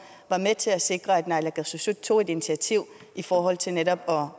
var med til at sikre at naalakkersuisut tog et initiativ i forhold til netop